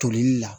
Tolili la